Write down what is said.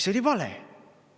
See oli vale!